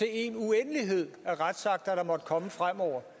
en uendelighed af retsakter der måtte komme fremover